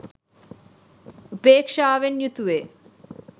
උපේක්ෂාවෙන් යුතුවේ.